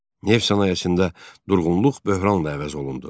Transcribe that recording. Neft sənayesində durğunluq böhranla əvəz olundu.